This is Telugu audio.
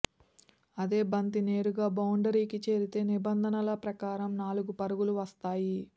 అదే బంతి నేరుగా బౌండరీకి చేరితే నిబంధనల ప్రకారం నాలుగు పరుగులు వస్తాయి